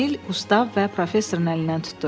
Emil, Qustav və professorun əlindən tutdu.